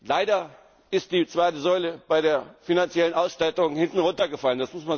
Leider ist die zweite Säule bei der finanziellen Ausstattung hinten runtergefallen.